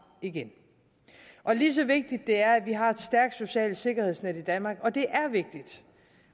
igen og lige så vigtigt det er at vi har et stærkt socialt sikkerhedsnet i danmark